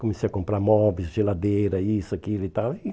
Comecei a comprar móveis, geladeira, isso, aquilo e tal. E